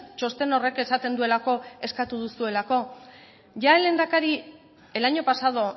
txosten horrek esaten duelako eskatu duzuelako ya el lehendakari el año pasado